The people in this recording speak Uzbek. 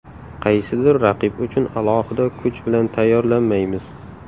Qaysidir raqib uchun alohida kuch bilan tayyorlanmaymiz.